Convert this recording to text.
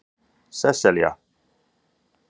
Sesselja